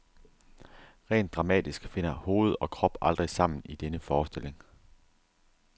Rent dramatisk finder hoved og krop aldrig sammen i denne forestilling.